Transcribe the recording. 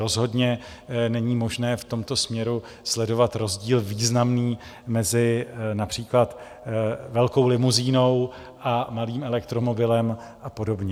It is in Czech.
Rozhodně není možné v tomto směru sledovat rozdíl významný mezi například velkou limuzínou a malým elektromobilem a podobně.